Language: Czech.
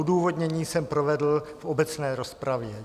Odůvodnění jsem provedl v obecné rozpravě.